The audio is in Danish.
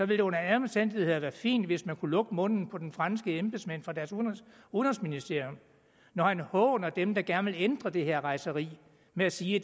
det under alle omstændigheder være fint hvis man kunne lukke munden på den franske embedsmand fra deres udenrigsministerium når han håner dem der gerne vil ændre på det her rejseri ved at sige